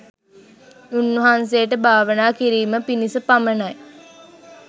උන්වහන්සේට භාවනා කිරීම පිණිස පමණයි.